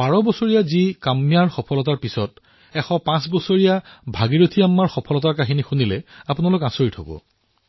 বাৰ বছৰীয়া কন্যা কাম্যাৰ সফলতাৰ পিছত আপোনালোকে যেতিয়া ১০৫ বৰ্ষীয় ভাগিৰথী আম্মাৰ কথা শুনিব তেতিয়া আৰু আচৰিত হৈ পৰিব